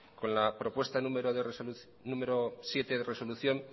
con la propuesta número siete de resolución